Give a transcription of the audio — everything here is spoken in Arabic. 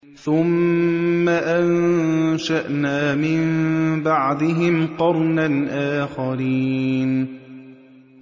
ثُمَّ أَنشَأْنَا مِن بَعْدِهِمْ قَرْنًا آخَرِينَ